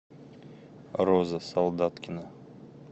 роза солдаткина